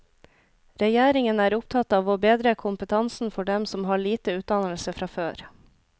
Regjeringen er opptatt av å bedre kompetansen for dem som har lite utdannelse fra før.